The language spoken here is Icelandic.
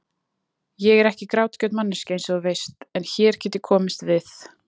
Ég er ekki grátgjörn manneskja einsog þú veist, en hér get ég komist við.